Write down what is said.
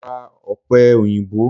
Mo ra Ọ̀pẹ èyìǹbó.